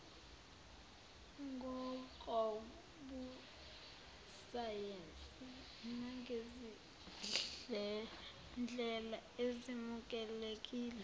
ngokobusayensi nangezindlela ezemukelekile